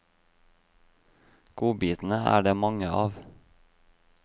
Godbitene er det mange av.